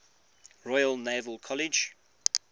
royal naval college